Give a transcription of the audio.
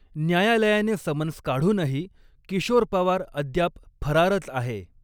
न्यायालयाने समन्स काढूनही किशोर पवार अद्याप फरारच आहे.